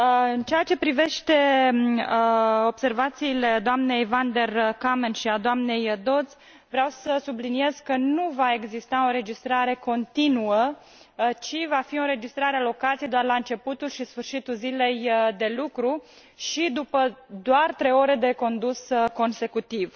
În ceea ce privește observațiile doamnei van der Kammen și ale doamnei Dodds, vreau să subliniez că nu va exista o înregistrare continuă, ci va fi o înregistrare a locației doar la începutul și sfărșitul zilei de lucru și după doar trei ore de condus consecutiv.